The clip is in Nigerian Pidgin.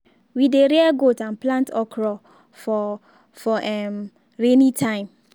we dey rear goat and plant okro for for um rainy time.